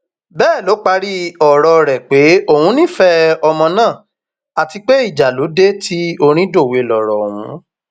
bẹẹ ló parí ọrọ rẹ pé òun nífẹẹ ọmọ náà àti pé ìjà ló dé tí orin dòwe lọrọ ọhún